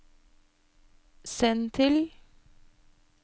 send til